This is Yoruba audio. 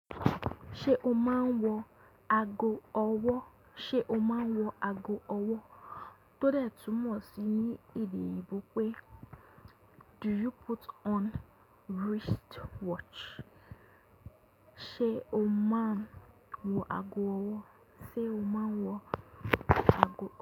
Ṣé o máa ń wọ ago ọwọ́? Tó dé túmọ̀ sí ní èdè oyinbo pe "Do you put on wrist watch?"Ṣé o máa ń wọ ago ọwọ́?